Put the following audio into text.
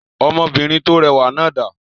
Ọmọbìnrin tó rẹwà náà dà?